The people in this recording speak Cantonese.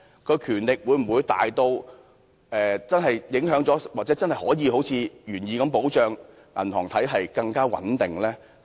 該權力會否大至真的影響了或真的可以好像原意般保障銀行體系更穩定？